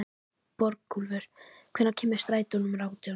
Borgúlfur, hvenær kemur strætó númer átján?